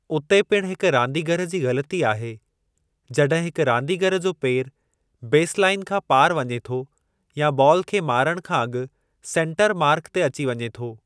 उते पिण हिक रांदिगर जी ग़लती आहे जॾहिं हिक रांदीगरु जो पेर बेसलाइन खां पार वञे थो या बॉल खे मारणु खां अॻु सेन्टर मार्क ते अची वञे थो।